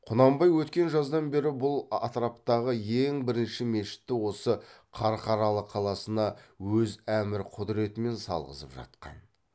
құнанбай өткен жаздан бері бұл атраптағы ең бірінші мешітті осы қарқаралы қаласына өз әмір құдретімен салғызып жатқан